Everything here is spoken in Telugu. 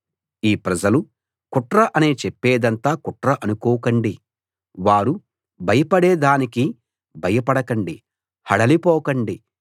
ఈ ప్రజలు కుట్ర అని చెప్పేదంతా కుట్ర అనుకోకండి వారు భయపడే దానికి భయపడకండి హడలి పోకండి